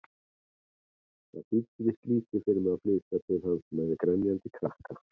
Það þýddi víst lítið fyrir mig að flytja til hans-með grenjandi krakka!